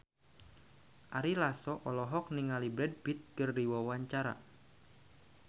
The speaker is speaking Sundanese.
Ari Lasso olohok ningali Brad Pitt keur diwawancara